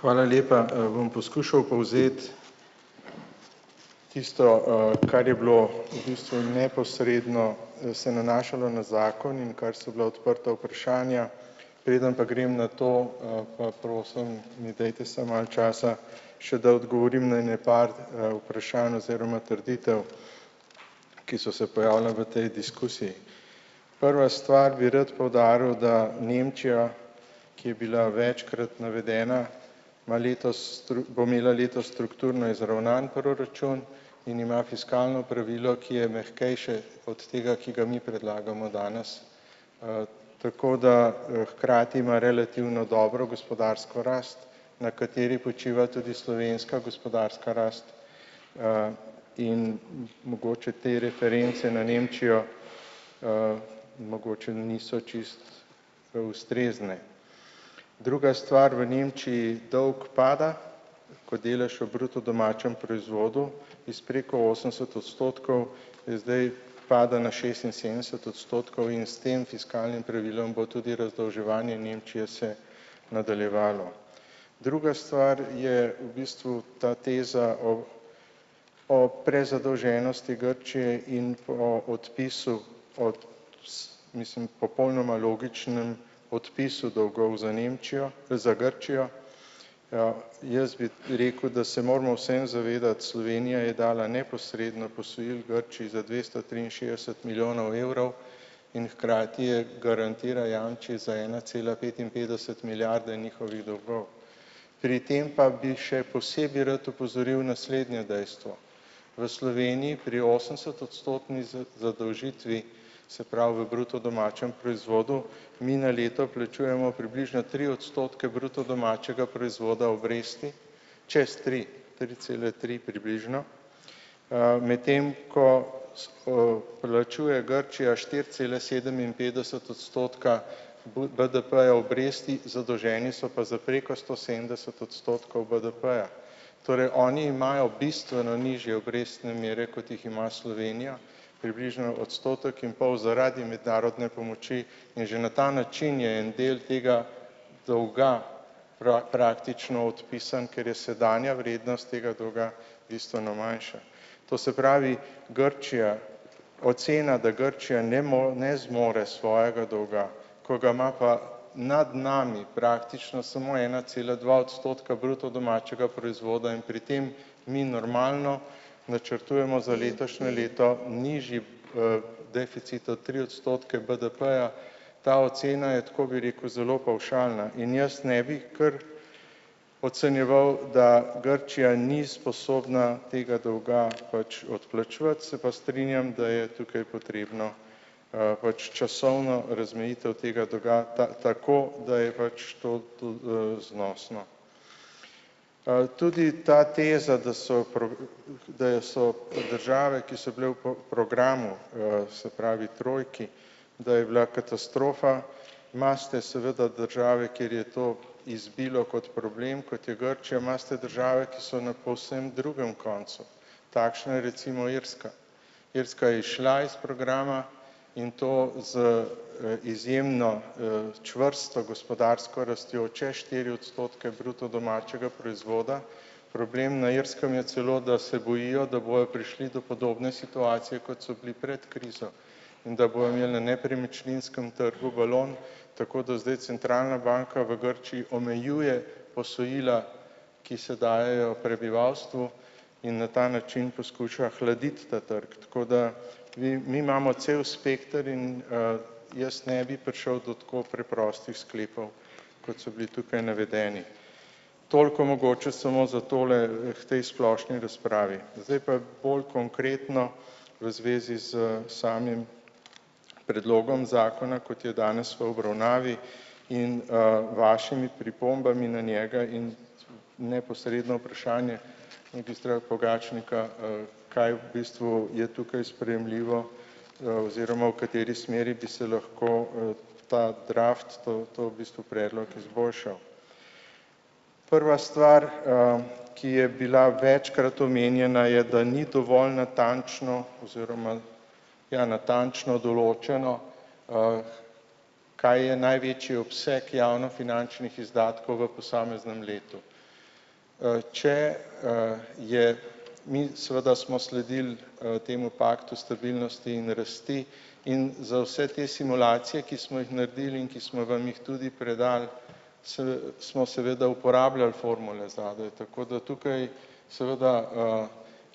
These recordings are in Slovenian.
Hvala lepa, bom poskušal povzeti tisto, kar je bilo v bistvu neposredno, se nanašalo na zakon in kar so bila odprta vprašanja. Preden pa grem na to, pa prosim, mi dajte samo malo časa še, da odgovorim na ene par, vprašanj oziroma trditev, ki so se pojavile v tej diskusiji. Prva stvar bi rad poudaril, da Nemčija, ki je bila večkrat navedena, ima letos, bo imela letos strukturno izravnan proračun in ima fiskalno pravilo, ki je mehkejše od tega, ki ga mi predlagamo danes. Tako da, hkrati ima relativno dobro gospodarsko rast, na kateri počiva tudi slovenska gospodarska rast, in mogoče te reference na Nemčijo, mogoče niso čisto ustrezne. Druga stvar, v Nemčiji dolg pada, ko delež v bruto domačem proizvodu iz preko osemdeset odstotkov je zdaj pada na šestinsedemdeset odstotkov in s tem fiskalnim pravilom bo tudi razdolževanje Nemčije se nadaljevalo. Druga stvar, je v bistvu ta teza o o prezadolženosti Grčije in po odpisu od, mislim, popolnoma logičnem odpisu dolgov za Nemčijo, za Grčijo, jaz bi rekel, da se moramo vseeno zavedati, Slovenija je dala neposredno posojil Grčiji za dvesto triinšestdeset milijonov evrov in hkrati je, garantira, jamči za ena cela petinpetdeset milijarde njihovih dolgov. Pri tem pa bi še posebej rad opozoril naslednje dejstvo. V Sloveniji pri osemdesetodstotni zadolžitvi, se pravi, v bruto domačem proizvodu mi na leto plačujemo približno tri odstotke bruto domačega proizvoda obresti, čez tri, tri cele tri približno, medtem ko, plačuje Grčija štiri cele sedeminpetdeset odstotka BDP-ja obresti. Zadolženi so pa za preko sto sedemdeset odstotkov BDP-ja. Torej oni imajo bistveno nižje obrestne mere, kot jih ima Slovenija, približno odstotek in pol zaradi mednarodne pomoči in že na ta način je en del tega dolga praktično odpisan, ker je sedanja vrednost tega dolga bistveno manjša. To se pravi, Grčija ocena, da Grčija ne ne zmore svojega dolga, ko ga ima pa nad nami praktično samo ena cela dva odstotka bruto domačega proizvoda, in pri tem mi normalno načrtujemo za letošnje leto nižji, deficit od tri odstotke BDP-ja. Ta ocena je tako, bi rekel, zelo pavšalna in jaz ne bi kar ocenjeval, da Grčija ni sposobna tega dolga pač odplačevati, se pa strinjam, da je tukaj potrebno, pač časovno razmejitev tega dolga tako, da je pač to to, znosno. Tudi ta teza, da so da je so od države, ki so bile v programu, se pravi trojki, da je bila katastrofa, imate seveda države, kjer je to izbilo kot problem, kot je Grčija. Imate države, ki so na povsem drugem koncu. Takšna je recimo Irska. Irska je izšla iz programa in to z, izjemno, čvrsto gospodarsko rastjo čez štiri odstotke bruto domačega proizvoda. Problem na Irskem je celo, da se bojijo, da bojo prišli do podobne situacije, kot so bili pred krizo in da bojo imeli na nepremičninskem trgu balon, tako da zdaj centralna banka v Grčiji omejuje posojila, ki se dajejo prebivalstvu, in na ta način poskuša hladiti ta trg, tako da vi mi imamo cel spekter in, jaz ne bi prišel do tako preprostih sklepov, kot so bili tukaj navedeni. Toliko mogoče samo za tole k tej splošni razpravi. Zdaj pa bolj konkretno v zvezi s samim predlogom zakona, kot je danes v obravnavi, in, vašimi pripombami na njega in neposredno vprašanje ministra Pogačnika, kaj v bistvu je tukaj sprejemljivo, oziroma v kateri smeri bi se lahko, v ta draft to to v bistvu predlog izboljšal. Prva stvar, ki je bila večkrat omenjena je, da ni dovolj natančno oziroma ja, natančno določeno, kaj je največji obseg javnofinančnih izdatkov v posameznem letu. Če, je mi seveda smo sledili, temu paktu stabilnosti in rasti in za vse te simulacije, ki smo jih naredili in ki smo vam jih tudi predali, saj smo seveda uporabljali formule za, da je tako da tukaj seveda,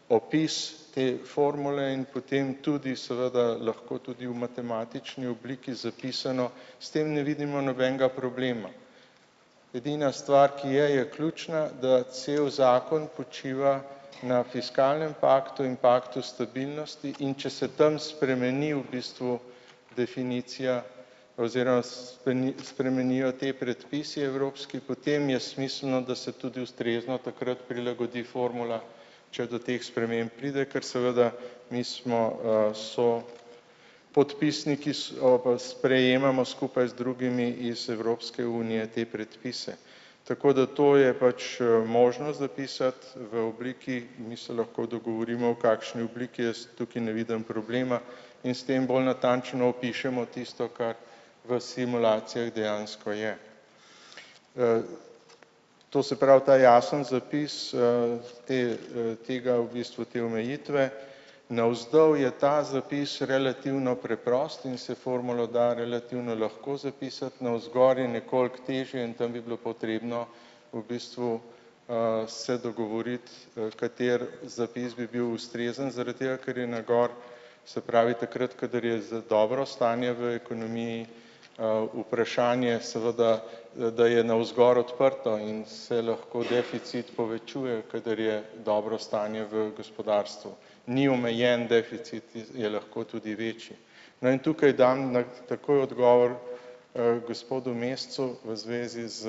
opis te formule in potem tudi seveda lahko tudi v matematični obliki zapisano, s tem ne vidimo nobenega problema. Edina stvar, ki je je ključna, da cel zakon počiva na fiskalnem paktu in paktu stabilnosti, in če se tam spremeni v bistvu definicija oziroma spremenijo ti predpisi evropski, potem je smiselno, da se tudi ustrezno takrat prilagodi formula, če do teh sprememb pride, kar seveda mi smo, so podpisniki sprejemamo skupaj z drugimi iz Evropske unije te predpise. Tako da to je pač, možnost zapisati v obliki, mi se lahko dogovorimo v kakšni obliki, jaz tukaj ne vidim problema in s tem bolj natančno opišemo tisto, kar v simulacijah dejansko je. To se pravi ta jasni zapis, te, tega v bistvu te omejitve navzdol je ta zapis relativno preprost in se formulo da relativno lahko zapisati, navzgor je nekoliko težje in tam bi bilo potrebno v bistvu, se dogovoriti, v kateri zapis bi bil ustrezen zaradi tega, ker je na gor, se pravi, takrat, kadar je za dobro stanje v ekonomiji, vprašanje seveda, da je navzgor odprto in se lahko deficit povečuje, kadar je dobro stanje v gospodarstvu. Ni omejen deficit, je lahko tudi večji. No, in tukaj dam na takoj odgovor, gospodu Mescu v zvezi s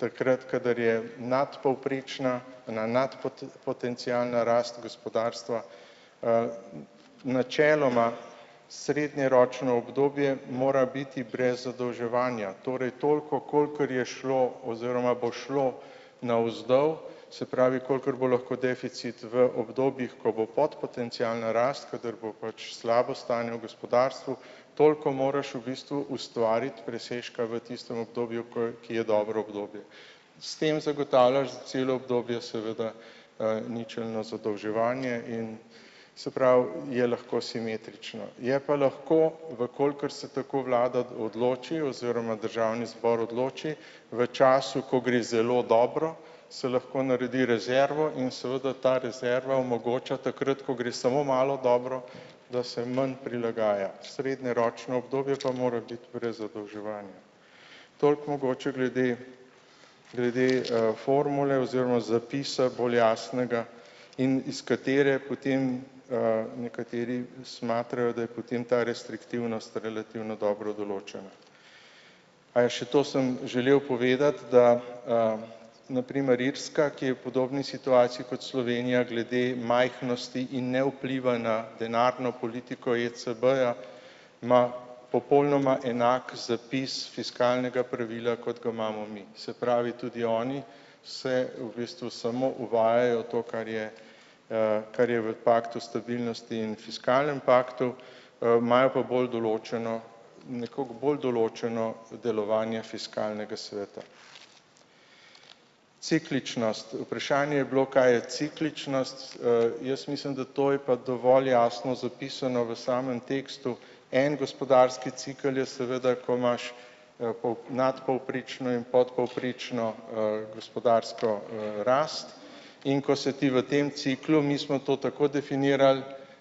takrat, kadar je nadpovprečna na potencialna rast gospodarstva. Načeloma srednjeročno obdobje mora biti brez zadolževanja, torej toliko, kolikor je šlo oziroma bo šlo navzdol, se pravi, kolikor bo lahko deficit v obdobjih, ko bo podpotencialna rast, kadar bo pač slabo stanje v gospodarstvu, toliko moraš v bistvu ustvariti presežka v tistem obdobju, ko je, ki je dobro obdobje. S tem zagotavljaš za celo obdobje seveda, ničelno zadolževanje in se pravi je lahko simetrično. Je pa lahko, v kolikor se tako vlada odloči oziroma državni zbor odloči, v času, ko gre zelo dobro, se lahko naredi rezervo in seveda ta rezerva omogoča takrat, ko gre samo malo dobro, da se manj prilagaja. Srednjeročno obdobje pa mora biti brez zadolževanja. Toliko mogoče glede glede, formule oziroma zapisa bolj jasnega, in iz katere potem, nekateri smatrajo, da je potem ta restriktivnost relativno dobro določena. Aja, še to sem želel povedati, da, na primer Irska, ki je v podobni situaciji kot Slovenija glede majhnosti in ne vpliva na denarno politiko ECB-ja, ima popolnoma enak zapis fiskalnega pravila, kot ga imamo mi. Se pravi, tudi oni se v bistvu samo uvajajo to, kar je, kar je v paktu stabilnosti in fiskalnem paktu, imajo pa bolj določeno nekoliko bolj določeno delovanje fiskalnega sveta. Cikličnost, vprašanje je bilo, kaj je cikličnost, jaz mislim, da to je pa dovolj jasno zapisano v samem tekstu. En gospodarski cikel je seveda, ko imaš, nadpovprečno in podpovprečno, gospodarsko, rast, in ko se ti v tem ciklu, mi smo to tako definirali,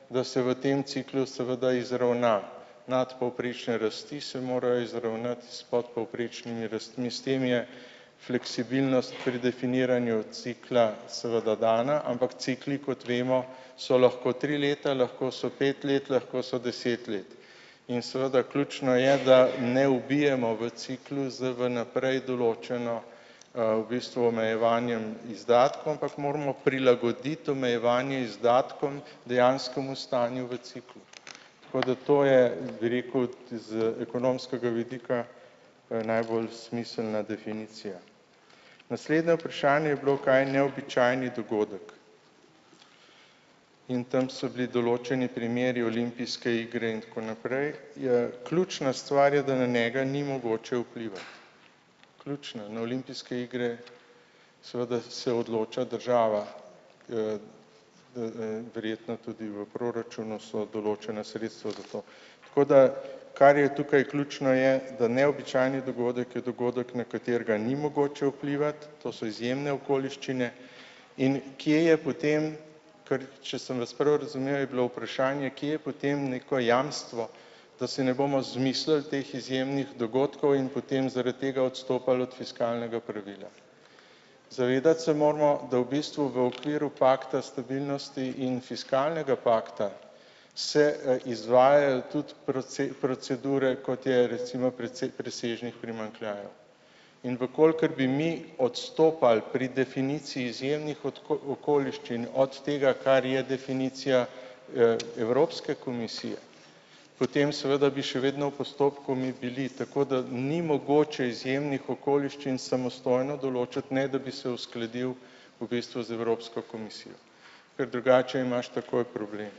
da se v tem ciklu seveda izravna, nadpovprečne rasti se morajo izravnati s podpovprečnimi rastmi, s tem je fleksibilnost pri definiranju cikla seveda dana, ampak cikli, kot vemo, so lahko tri leta, lahko so pet let, lahko so deset let. In seveda ključno je, da ne ubijemo v ciklu z vnaprej določeno, v bistvu omejevanjem izdatkov, ampak moramo prilagoditi omejevanje izdatkom dejanskemu stanju v ciklu. Tako da to je, bi rekel, z ekonomskega vidika najbolj smiselna definicija. Naslednje vprašanje je bilo, kaj je neobičajni dogodek. In tam so bili določeni primeri olimpijske igre in tako naprej, je ključna stvar je, da na njega ni mogoče vplivati. Ključna na olimpijske igre, seveda se odloča država, verjetno tudi v proračunu so določena sredstva za to. Tako da, kar je tukaj ključno, je, da neobičajni dogodek je dogodek, na katerega ni mogoče vplivati, to so izjemne okoliščine, in kje je potem, ker če sem vas prav razumel, je bilo vprašanje, kje je potem neko jamstvo, da si ne bomo izmislili teh izjemnih dogodkov in potem zaradi tega odstopali od fiskalnega pravila. Zavedati se moramo, da v bistvu v okviru pakta stabilnosti in fiskalnega pakta se izvajajo tudi proceduro, kot je recimo precej presežnih primanjkljajev. In v kolikor bi mi odstopali pri definiciji izjemnih okoliščin od tega, kar je definicija, Evropske komisije, potem seveda bi še vedno v postopku mi bili, tako da ni mogoče izjemnih okoliščin samostojno določati, ne, da bi se uskladil v bistvu z Evropsko komisijo. Ker drugače imaš takoj problem.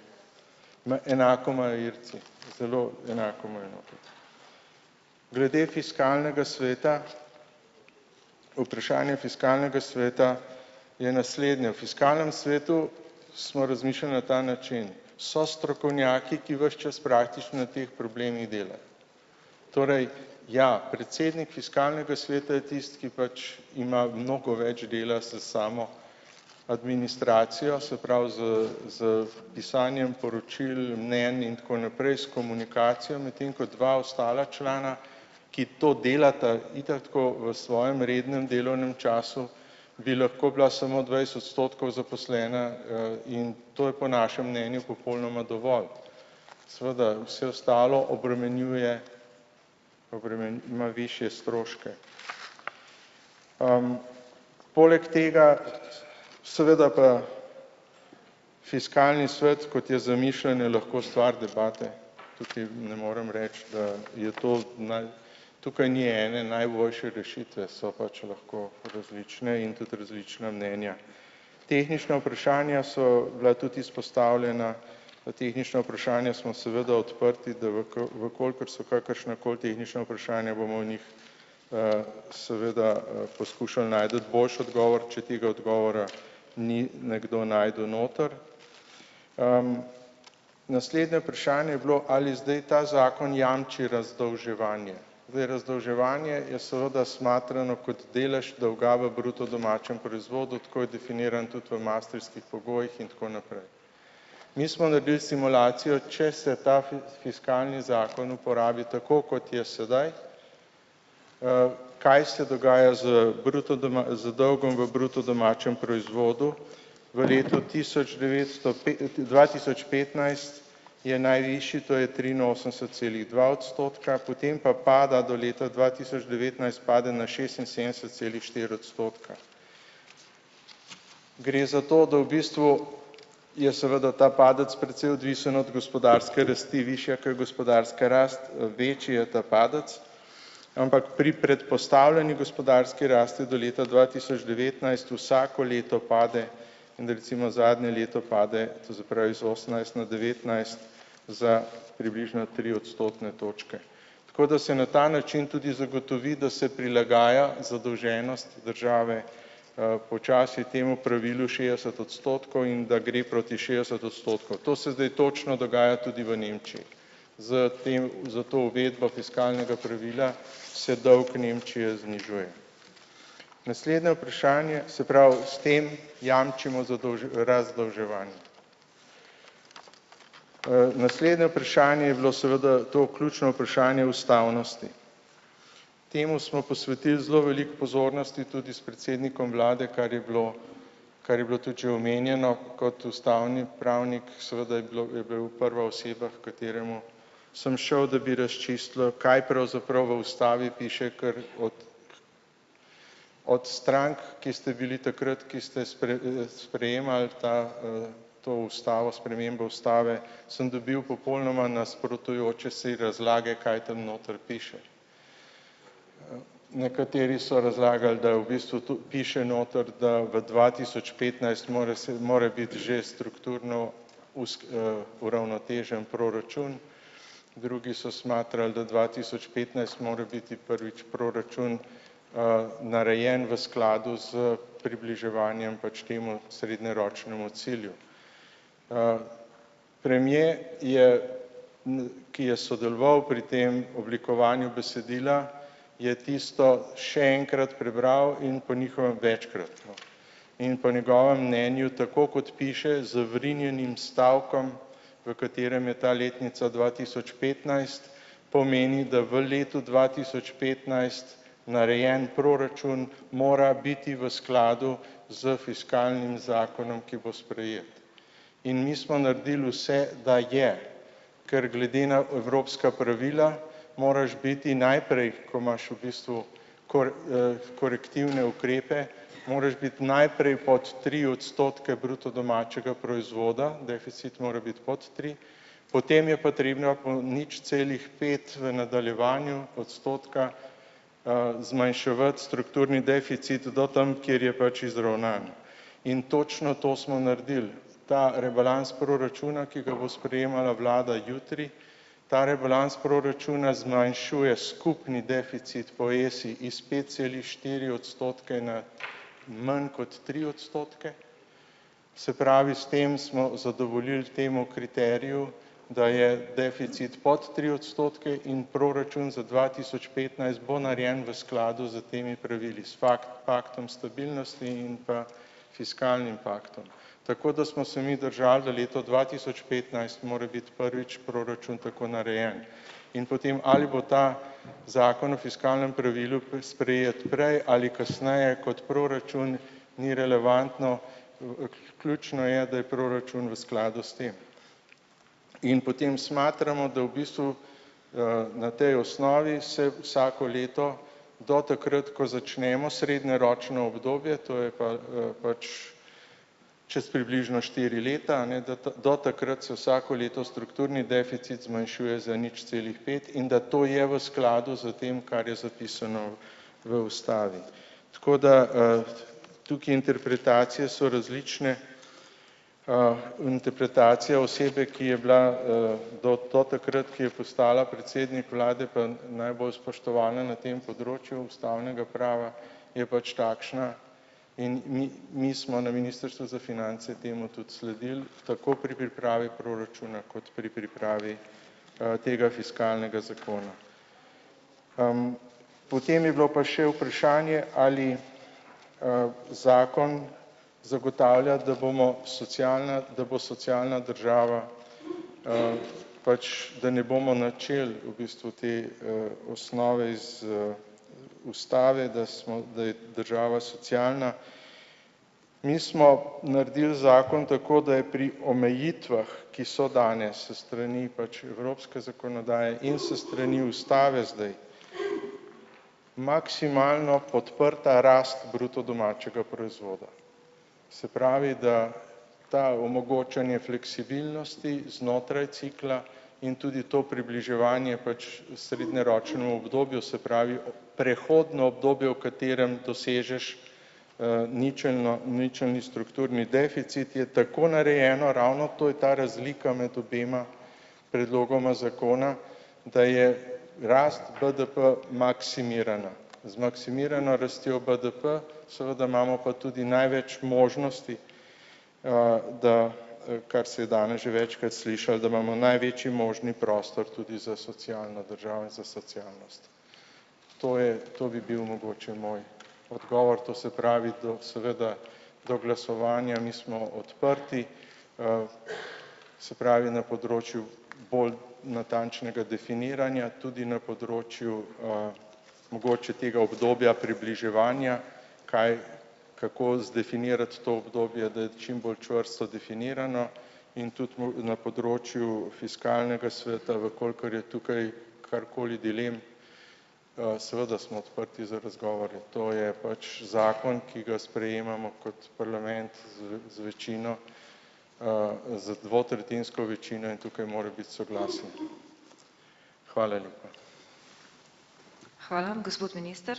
Na enako imajo Irci, zelo enako imajo. Glede fiskalnega sveta, vprašanje fiskalnega sveta je naslednje. V fiskalnem svetu smo razmišljali na ta način; so strokovnjaki, ki vas čas praktično na teh problemih delajo. Torej, ja, predsednik fiskalnega sveta je tisti, ki pač ima mnogo več dela s samo administracijo, se pravi s s pisanjem poročil, mnenj in tako naprej, s komunikacijami, tem, ko dva ostala člana, ki to delata itak tako v svojem rednem delavnem času, bi lahko bila samo dvajset odstotkov zaposlena, in to je po našem mnenju popolnoma dovolj. Seveda, vse ostalo obremenjuje, ima višje stroške. Poleg tega seveda pa fiskalni svet, kot je zamišljen, je lahko stvar debate. Tukaj ne moram reči, da je to tukaj ni ene najboljše rešitve, so pač lahko različne in tudi različna mnenja. Tehnična vprašanja so bila tudi izpostavljena. Na tehnična vprašanja smo seveda odprti, da v v kolikor so kakršnakoli tehnična vprašanja, bomo o njih, seveda, poskušali najti boljši odgovor, če tega odgovora ni nekdo našel noter. Naslednje vprašanje je bilo, ali zdaj ta zakon jamči razdolževanje. Zdaj, razdolževanje je seveda smatrano kot delež dolga v bruto domačem proizvodu, tako je definiran tudi v maastrichtskih pogojih in tako naprej. Mi smo naredili simulacijo, če se ta fiskalni zakon uporabi, tako kot je sedaj, kaj se dogaja z bruto z dolgom v bruto domačem proizvodu, v letu tisoč devetsto dva tisoč petnajst je najvišji, to je triinosemdeset celih dva odstotka. Potem pa pada do leta dva tisoč devetnajst pade na šestinsedemdeset celih štiri odstotka. Gre za to, da v bistvu je seveda ta padec precej odvisen od gospodarske rasti, višja, ke je gospodarska rast, večji je ta padec. Ampak pri predpostavljeni gospodarski rasti do leta dva tisoč devetnajst vsako leto pade in recimo zadnje leto pade, to se pravi iz osemnajst na devetnajst za približno tri odstotne točke. Tako da se na ta način tudi zagotovi, da se prilagaja zadolženost države, počasi temu pravilu šestdeset odstotkov in da gre proti šestdeset odstotkov. To se zdaj točno dogaja tudi v Nemčiji. Za tem za to uvedbo fiskalnega pravila se dolg Nemčije znižuje. Naslednje vprašanje, se pravi, s tem jamčimo razdolževanje. Naslednje vprašanje je bilo seveda to ključno vprašanje ustavnosti. Temu smo posvetili zelo veliko pozornosti tudi s predsednikom vlade, kar je bilo, kar je bilo tudi že omenjeno kot ustavni pravnik, seveda je bilo je bil prva oseba, h kateremu sem šel, da bi razčistilo, kaj pravzaprav v ustavi piše kar od od strank, ki ste bili takrat, ki ste sprejemali ta, to ustavo, spremembo ustave sem dobil popolnoma nasprotujoče si razlage, kaj tam noter piše. Nekateri so razlagali, da je v bistvu tu piše noter, da v dva tisoč petnajst mora mora biti že strukturno uravnotežen proračun. Drugi so smatrali, da dva tisoč petnajst mora biti prvič proračun, narejen v skladu s približevanjem pač temu srednjeročnemu cilju. Premier je, ki je sodeloval pri tem oblikovanju besedila, je tisto še enkrat prebral in po njihovem večkrat, no. In po njegovem mnenju, tako kot piše z vrinjenim stavkom, v katerem je ta letnica dva tisoč petnajst, pomeni, da v letu dva tisoč petnajst narejen proračun mora biti v skladu s fiskalnim zakonom, ki bo sprejet. In mi smo naredili vse, da je. Ker glede na evropska pravila moraš biti najprej, ko imaš v bistvu korektivne ukrepe, moraš biti najprej pod tri odstotke bruto domačega proizvoda, deficit mora biti pod tri. Potem je potrebna po nič celih pet v nadaljevanju odstotka, zmanjševati strukturni deficit do tam, kjer je pač izravnan. In točno to smo naredili. Ta rebalans proračuna, ki ga bo sprejemala vlada jutri, ta rebalans proračuna zmanjšuje skupni deficit poje si iz pet celih štiri odstotke na manj kot tri odstotke. Se pravi, s tem smo zadovoljili temu kriteriju, da je deficit pod tri odstotke in proračun za dva tisoč petnajst bo narejen v skladu s temi pravili, s paktom stabilnosti in pa fiskalnim paktom. Tako da smo se mi držali, da leto dva tisoč petnajst mora biti prvič proračun tako narejen. In potem, ali bo ta zakon o fiskalnem pravilu sprejet prej ali kasneje kot proračun ni relevantno, ključno je, da je proračun v skladu s tem. In potem smatramo, da v bistvu, na tej osnovi se vsako leto do takrat, ko začnemo srednjeročno obdobje, to je pa, pač čez približno štiri leta, a ne, da do takrat so vsako leto strukturni deficit zmanjšuje za nič celih pet in da to je v skladu s tem, kar je zapisano v ustavi. Tako da, tukaj interpretacije so različne, interpretacija osebe, ki je bila, do do takrat, ki je postala predsednik vlade, pa najbolj spoštovana na tem področju ustavnega prava, je pač takšna, in mi, mi smo na ministrstvu za finance temu tudi sledili tako pri pripravi proračuna kot pri pripravi, tega fiskalnega zakona. Potem je bilo pa še vprašanje, ali, zakon zagotavlja, da bomo socialna, da bo socialna država, pač, da ne bomo načel v bistvu te, osnove iz, ustave, da smo, da je država socialna. Mi smo naredili zakon tako, da je pri omejitvah, ki so danes s strani pač evropske zakonodaje in s strani ustave, zdaj maksimalno podprta rast bruto domačega proizvoda. Se pravi, da to omogočanje fleksibilnosti znotraj cikla in tudi to približevanje pač v srednjeročnem obdobju, se pravi, prehodno obdobje, v katerem dosežeš, ničelno ničelni strukturni deficit je tako narejeno ravno to, je ta razlika med obema predlogoma zakona, da je rast BDP maksimirana. Zmaksimirana rastjo BDP, seveda imamo pa tudi največ možnosti, da, kar se je danes že večkrat slišalo, da imamo največji možni prostor tudi za socialno državo in za socialnost. To je, to bi bil mogoče moj odgovor, to se pravi, da seveda do glasovanja mi smo odprti, se pravi na področju bolj natančnega definiranja, tudi na področju, mogoče tega obdobja približevanja, kaj kako zdefinirati to obdobje, da je čim bolj čvrsto definirano in tudi na področju fiskalnega sveta, v kolikor je tukaj karkoli dilema. Seveda smo odprti za razgovore. To je pač zakon, ki ga sprejemamo kot parlament z z večino, z dvotretjinsko večino in tukaj mora biti soglasje. Hvala lepa.